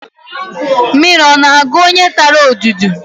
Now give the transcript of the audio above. Mmiri ọ na-agụ onye tara odudu?